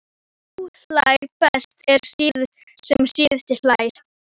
Sá hlær best sem síðast hlær!